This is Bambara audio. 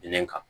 Kelen kan